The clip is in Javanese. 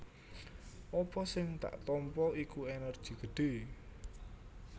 Apa sing dak tampa iku ènèrgi gedhé